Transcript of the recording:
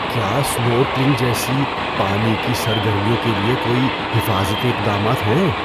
کیا اسنورکلنگ جیسی پانی کی سرگرمیوں کے لیے کوئی حفاظتی اقدامات ہیں؟